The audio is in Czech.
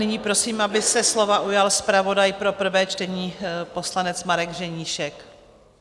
Nyní prosím, aby se slova ujal zpravodaj pro prvé čtení, poslanec Marek Ženíšek.